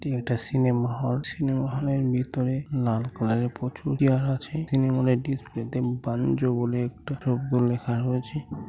এটি একটি cinema hall. Cinema hall এর ভিতরে লাল কালার এর প্রচুর চেয়ার আছে। তৃনমুলের ডিসপ্লেতে বাণিজ্য বলে একটা দ্রব্য লেখা রয়েছে।